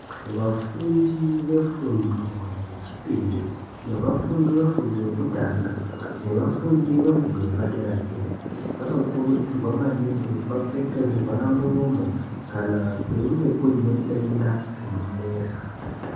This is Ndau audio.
Vafundi ve fundo yechipiri neva fundi ve fundo yekutanga neva fundi ve fundo yepa dera dera vano kurudzirwa maningi kuti vapfeke zvi vhara muromo kana kweinge kune denda rino nesa.